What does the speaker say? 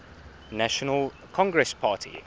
national congress party